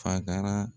Faga